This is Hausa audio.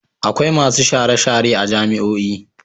Akwai masu share-share a jami'io.